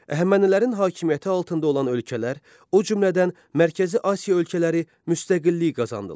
Əhəmənilərin hakimiyyəti altında olan ölkələr, o cümlədən Mərkəzi Asiya ölkələri müstəqillik qazandılar.